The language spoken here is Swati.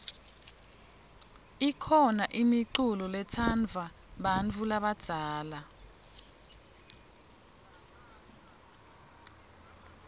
kukhona imiculo letsandvwa bantfu labadzala